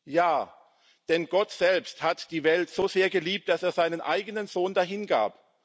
Ja, denn Gott selbst hat die Welt so sehr geliebt, dass er seinen eigenen Sohn dahingab.